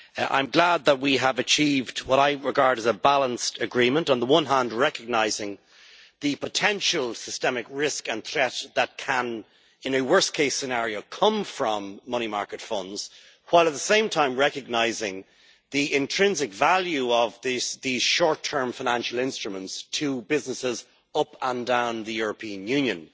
I am glad that we have achieved what I regard as a balanced agreement, on the one hand recognising the potential systemic risk and threat that can in a worst case scenario come from money market funds, while at the same time, recognising the intrinsic value of these short term financial instruments to businesses up and down the European Union.